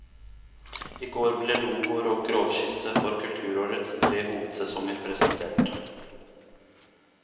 I går ble logoer og grovskisse for kulturårets tre hovedsesonger presentert.